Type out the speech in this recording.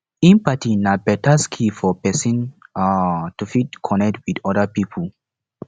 empathy na better skill for person um to fit connect well with pipo